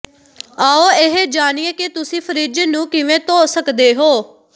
ਆਓ ਇਹ ਜਾਣੀਏ ਕਿ ਤੁਸੀਂ ਫਰਿੱਜ ਨੂੰ ਕਿਵੇਂ ਧੋ ਸਕਦੇ ਹੋ